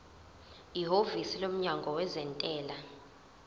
ihhovisi lomnyango wezentela